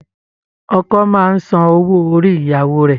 Ọkọ máa ń san owó orí ìyàwó rẹ̀